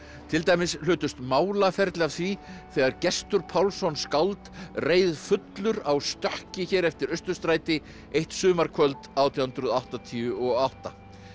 til dæmis hlutust málaferli af því þegar Gestur Pálsson skáld reið fullur á stökki hér eftir Austurstræti eitt sumarkvöld átján hundruð áttatíu og átta